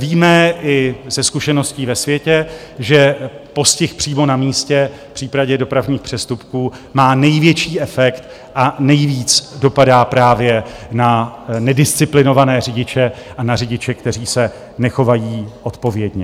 Víme i ze zkušeností ve světě, že postih přímo na místě v případě dopravních přestupků má největší efekt a nejvíc dopadá právě na nedisciplinované řidiče a na řidiče, kteří se nechovají odpovědně.